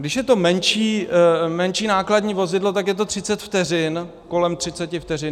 Když je to menší nákladní vozidlo, tak je to 30 vteřin, kolem 30 vteřin.